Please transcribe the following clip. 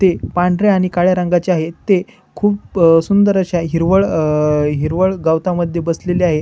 ते पांढऱ्या आणि काळ्या रंगाचे आहेत ते खुप अ सुंदर अशा हिरवळ अ हिरवळ गवता मध्ये बसलेले आहे.